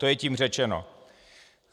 To je tím řečeno.